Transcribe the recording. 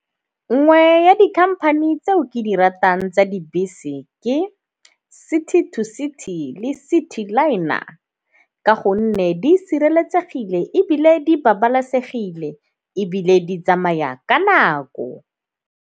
Nngwe ya dikhamphane tseo ke di ratang tsa dibese ke City To City le Citiliner ka gonne di sireletsegile ebile di babalesegile ebile di tsamaya ka nako.